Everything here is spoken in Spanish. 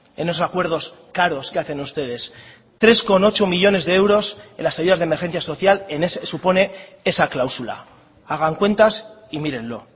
en esos acuerdos caros que hacen ustedes tres coma ocho millónes de euros en las ayudas de emergencia social supone esa cláusula hagan cuentas y mírenlo